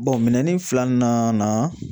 minɛn filanan na